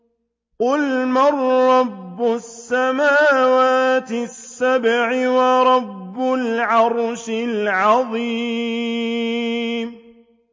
قُلْ مَن رَّبُّ السَّمَاوَاتِ السَّبْعِ وَرَبُّ الْعَرْشِ الْعَظِيمِ